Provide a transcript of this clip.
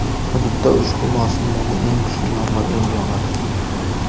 hududda ushbu mavsumdagi eng kuchli yomg‘ir endi yog‘adi.